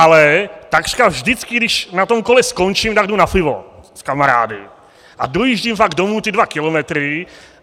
Ale takřka vždycky, když na tom kole skončím, tak jdu na pivo s kamarády a dojíždím pak domů ty dva kilometry.